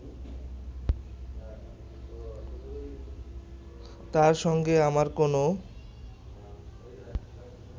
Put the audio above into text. তার সঙ্গে আমার কোনো